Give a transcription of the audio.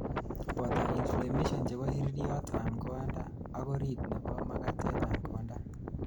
boto inflammation chebo iririyot an konda ak orit nebo makatet an konda